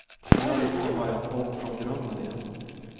Vi har liksom börjat om från grunden igen.